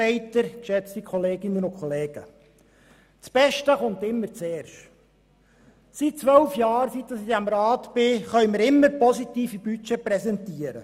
Seit zwölf Jahren, in denen ich diesem Rat angehöre, können wir immer positive Budgets präsentieren.